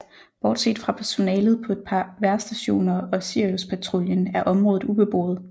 Bortset fra personalet på et par vejrstationer og Siriuspatruljen er området ubeboet